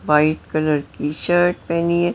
White colour की shirt पहनी है।